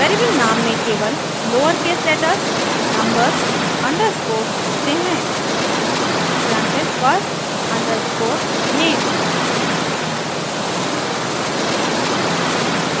variable नाम में केवल लोअरकेस लेटर्स नम्बर्स अंडरस्कोर्स होते हैं ex : first_name